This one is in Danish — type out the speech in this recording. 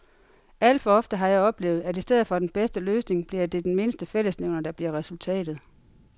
Alt for ofte har jeg oplevet, at i stedet for den bedste løsning bliver det den mindste fællesnævner, der bliver resultatet.